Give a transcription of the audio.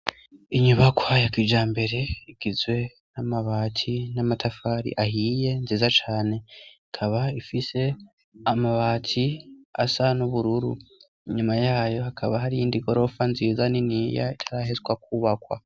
Inyubakoayakija mbere igizwe n'amabaki n'amatafari ahiye nziza cane akaba ifise amabati asa n'ubururu inyuma yayo hakaba hari iyindi gorofa nziza n'iniya itarahezwa kwubakwa.